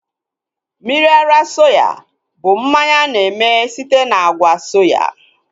Mmiri ara soya bụ mmanya a na-eme site na àgwà soya